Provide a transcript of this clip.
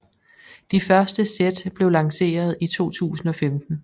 De første sæt blev lanceret i 2015